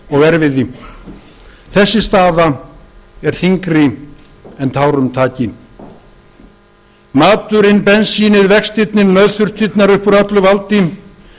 og erfiði þessi staða er þyngri en tárum taki maturinn bensínið vextirnir nauðþurftirnar upp úr öllu valdi